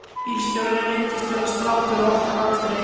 Bílstjórinn reyndist vera strákur á okkar aldri.